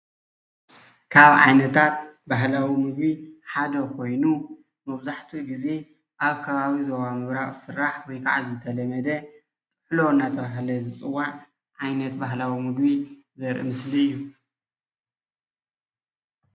ካብ ዓይነታት ባህላዊ ምግቢ ሓደ ኾይኑ መብዛሕቱኡ ግዜ ኣብ ከባቢ ዞባ ምብራቅ ዝስራሕ /ዝተለመደ/ጥሕሎ እናተባህለ ዝፅዋዕ ዓይነት ባህላዊ ምግቢ ዘርኢ ምስሊ እዩ።